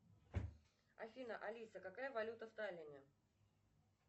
афина алиса какая валюта в таллине